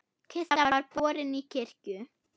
Kista var borin í kirkju.